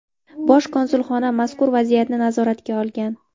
Bosh konsulxona mazkur vaziyatni nazoratga olgan.